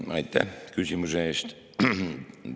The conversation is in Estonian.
Aitäh küsimuse eest!